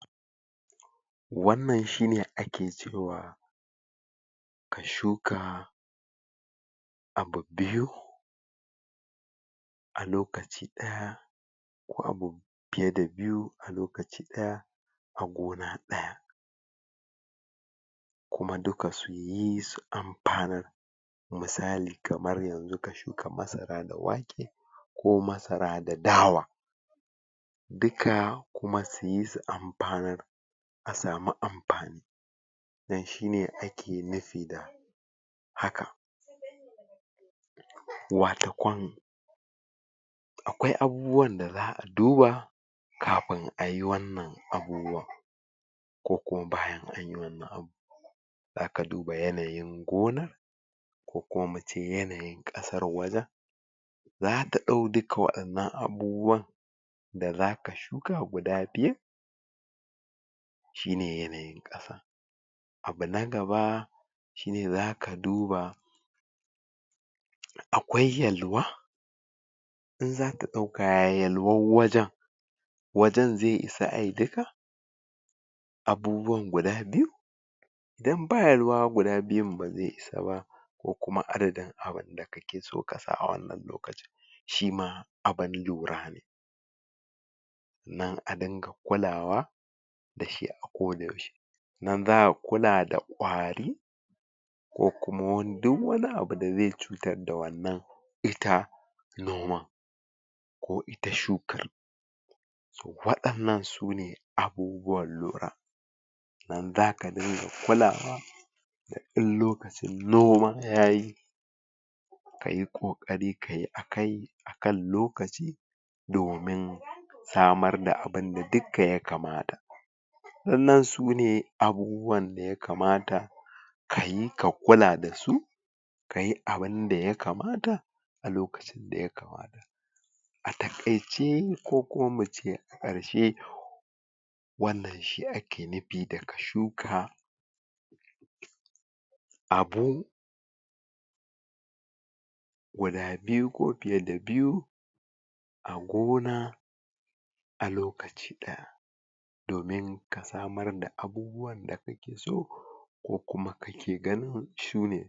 wannan shine ake cewa ka shuka abu biyu a lokaci ɗaya ko abu fiye da biyu a lokaci ɗaya a gona ɗaya kuma duka suyi su anfanar misali kamar yanzu ka shuka masara da wake ko masara da dawa duka kuma suyi su anfanar a samu amfani dan shine ake nufi da hakan wata ƙwan aƙwai abubuwan da za'a duba kafin ayi wannan abubuwan ko kuma bayan anyi wannan abubuwa zaka duba yanayin gona ko kuma muce yanayin ƙasar wajan zata ɗau duka waɗannan abubuwan da zaka shuka guda biyun shine yanayin ƙasa abu na gaba shine zaka duba aƙwai yalwa in zaka ɗauka ya yalwar wajan wajan zai isa ayi duka abubuwan guda biyu idan ba yalwa guda biyun ba zai isa ba ko kuma adadin abinda kakeso kasa a wannan lokacin shima abun lura ne sannan a dinga kulawa dashi a ko da yaushe nan zaka kula da ƙwari ko kuma wani du wani abu da zai cutar da wannan ita noma ko ita shuka waɗannan sune abubuwan lura nan zaka ga me kulawa in lokacin noma yayi kayi ƙoƙari kayi a kai akan lokaci domin samar da abunda dukka ya kamata waɗannan sune abubuwan daya kamata kayi ka kula dasu kayi abunda ya kamata a lokacin daya kamata a taƙaice kokuma muce a ƙarshe wannan shi ake nufi da ka shuka abu guda biyu ko fiye da biyu a gona a lokaci a lokaci ɗaya domin ka samar da abubuwan da kakeso ko kuma kake ganin sune